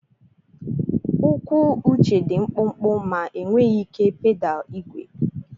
Ụkwụ Uche dị mkpụmkpụ ma enweghị ike pedal igwe.